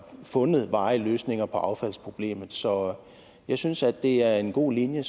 fundet varige løsninger på affaldsproblemet så jeg synes at det er en god linje